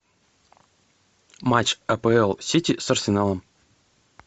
матч апл сити с арсеналом